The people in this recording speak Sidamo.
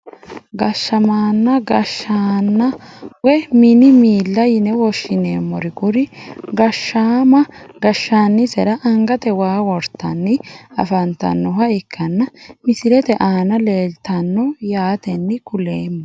Gashaamanna gashaana woyi mini miila yine woshineeemori kuri gashaama gashanisera angate waa wortani afantanoha ikana misilete aana leeltano yaateni kuleemo.